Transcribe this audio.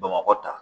Bamakɔ tan